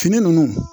Fini nunnu